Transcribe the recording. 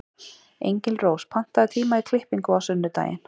Engilrós, pantaðu tíma í klippingu á sunnudaginn.